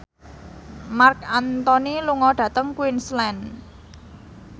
Marc Anthony lunga dhateng Queensland